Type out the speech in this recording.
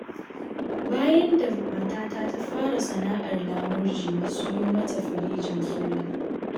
Bayan da matata ta fara sana'ar lamurje, na siyo mata firinjin sola.